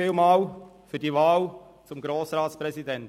Vielen Dank für die Wahl zum Grossratspräsidenten.